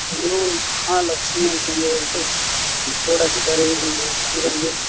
New Mahalakshmi ಅಂತ ಹೇಳ್ಬಿಟ್ಟು board ಹಾಕಿದ್ದಾರೆ ಇಲ್ಲಿ ಅಂಗಡಿಗೆ.